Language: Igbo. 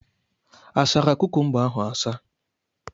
Asara kukumba ahụ asa?